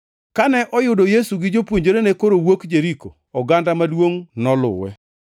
Kane oyudo Yesu gi jopuonjrene koro wuok Jeriko, oganda maduongʼ noluwe.